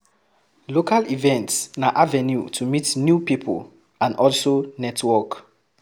Local events na avenue to meet new pipo and also network